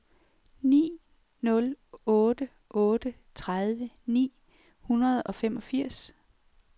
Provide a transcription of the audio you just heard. ni nul otte otte tredive ni hundrede og femogfirs